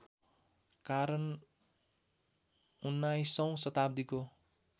कारण उन्नाइसौँ शताब्दीको